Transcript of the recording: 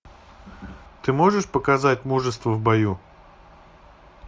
ты можешь показать мужество в бою